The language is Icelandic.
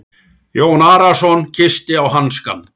Jón Arason kyssti á hanskann.